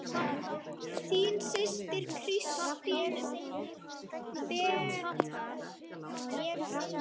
Þín systir, Kristín Berta.